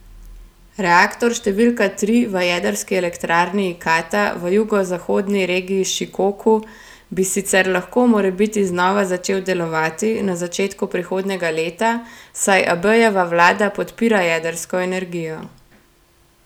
Reaktor številka tri v jedrski elektrarni Ikata v jugozahodni regiji Šikoku bi sicer lahko morebiti znova začel delovati na začetku prihodnjega leta, saj Abejeva vlada podpira jedrsko energijo.